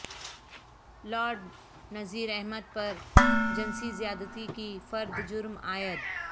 lord Nazir Ahmed پر جنسی زیادتی کی فرد جرم عائد